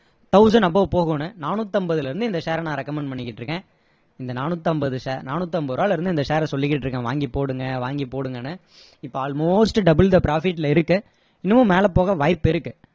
thousand above போகும்னு நானூத்தி ஐம்பதுல இருந்து இந்த share அ நான் recommend பண்ணிக்கிட்டு இருக்கேன் இந்த நானூத்தி ஐம்பது நானூத்தி ஐம்பது ரூபாயில இருந்து இந்த share ர நான் சொல்லிகிட்டு இருக்கேன் வாங்கி போடுங்க வாங்கி போடுங்கன்னு இப்போ almost double the profit ல இருக்கு இன்னமும் மேல போக வாய்ப்பிருக்கு